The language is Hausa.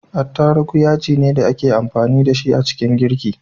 Attarugu yajine da ake amfani da shi a ciki girki